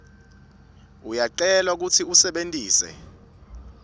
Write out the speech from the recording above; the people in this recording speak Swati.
uyacelwa kutsi usebentise